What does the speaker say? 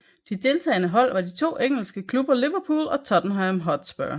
De deltagende hold var de to engelske klubber Liverpool og Tottenham Hotspur